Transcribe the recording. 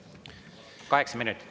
Kaheksa minutit.